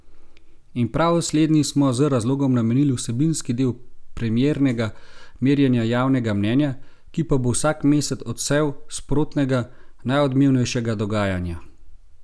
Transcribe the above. In prav slednji smo z razlogom namenili vsebinski del premiernega merjenja javnega mnenja, ki pa bo vsak mesec odsev sprotnega najodmevnejšega dogajanja.